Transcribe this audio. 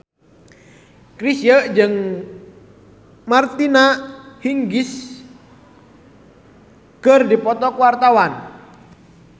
Chrisye jeung Martina Hingis keur dipoto ku wartawan